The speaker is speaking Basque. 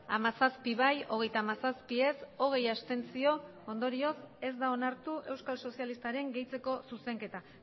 hamazazpi bai hogeita hamazazpi ez hogei abstentzio ondorioz ez da onartu euskal sozialistaren gehitzeko zuzenketa